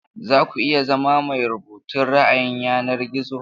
Za ku iya zama mai rubutun ra'ayin yanar gizo?